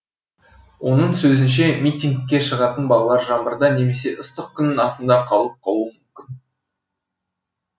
оның сөзінше митингке шығатын балалар жаңбырда немесе ыстық күннің астында қалып қалуы мүмкін